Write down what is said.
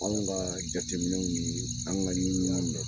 Anw kaa jateminɛw nii anw ŋa ɲiniw y'aa mɛ.